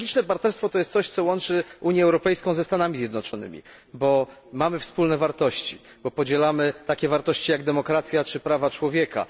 Strategiczne partnerstwo to jest coś, co łączy Unię Europejską ze Stanami Zjednoczonymi, bo mamy wspólne wartości, bo podzielamy takie wartości, jak demokracja czy prawa człowieka.